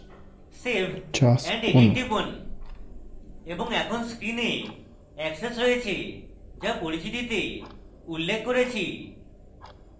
save and edit টিপুন এবং এখন screen access রয়েছে যা পরিচিতিতে উল্লেখ করেছি